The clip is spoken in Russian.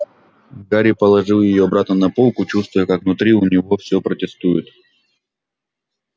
гарри положил её обратно на полку чувствуя как внутри у него всё протестует